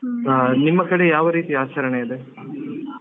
ಹಾ ನಿಮ್ಮ ಕಡೆ ಯಾವ ರೀತಿ ಆಚರಣೆ ಇದೆ.